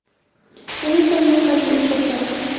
men esa unga qarshilik ko‘rsatdim.